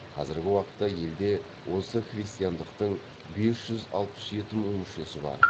қазіргі уақытта елде осы христиандықтың бес жүз алпыс жеті мың мүшесі бар